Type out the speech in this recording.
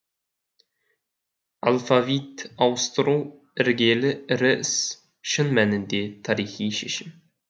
алфавит ауыстыру іргелі ірі іс шын мәнінде тарихи шешім